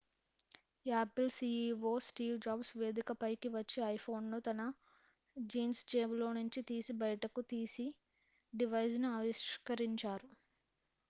Apple CEO Steve Jobs వేదికపైకి వచ్చి iPhone ను తన జీన్స్ జేబులో నుంచి తీసి బయటకు తీసి డివైస్ ను ఆవిష్కరించారు